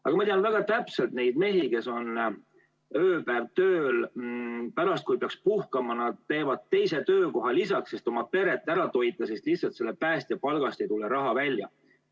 Aga ma tean väga täpselt neid mehi, kes on ööpäev tööl, pärast, kui peaks puhkama, nad teevad teisel töökohal tööd, et oma peret ära toita, sest lihtsalt selle päästja palgaga ei tule välja.